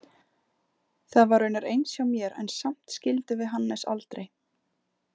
Það var raunar eins hjá mér en samt skildum við Hannes aldrei.